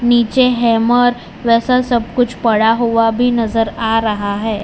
नीचे hammer pressure सब कुछ पड़ा हुआ भी नजर आ रहा है।